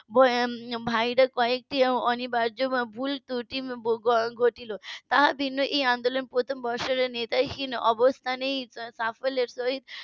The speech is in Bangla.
. ভাইরা কয়েকটি অনিবার্য ভুল ত্রূটি ঘটলো তা ভিন্ন এই আন্দোলনের প্রথম বর্ষের নেতা হীন অবস্থা নেই . সহিত